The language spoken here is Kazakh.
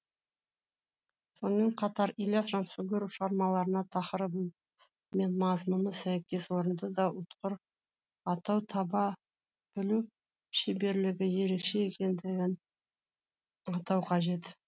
сонымен қатар ілияс жансүгіров шығармаларына тақырыбы мен мазмұнына сәйкес орынды да ұтқыр атау таба білу шеберлігі ерекше екендігін атау қажет